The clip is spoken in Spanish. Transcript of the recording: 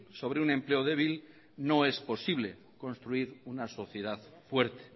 sobre un empleo débil no es posible construir una sociedad fuerte